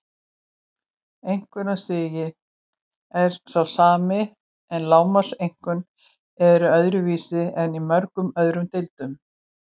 Einkunnastiginn er sá sami en lágmarkseinkunnir eru öðruvísi en í mörgum öðrum deildum.